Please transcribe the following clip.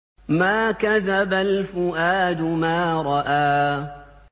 مَا كَذَبَ الْفُؤَادُ مَا رَأَىٰ